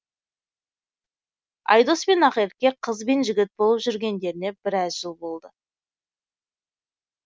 айдос пен ақерке қыз бен жігіт болып жүргендеріне біраз жыл болды